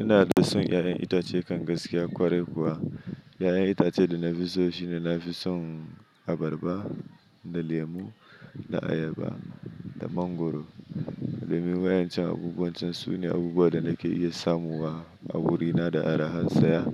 Ina da son 'ya'yan itace kan gaskiya kwarai kuwa. 'Ya'yan itace da na fi so shi ne na fi son abarba da lemu da ayaba da mangwaro. Domin wayancan abubuwan can sune abubuwa da nake iya samu wa a wurina da arahan saya.